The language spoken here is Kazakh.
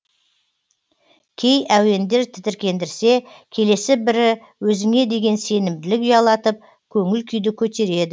кей әуендер тітіркендірсе келесі бірі өзіңе деген сенімділік ұялатып көңіл күйді көтереді